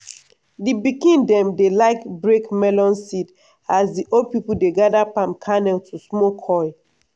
di pikin dem dey like break melon seed as di old pipo dey gather palm kernel to smoke oil.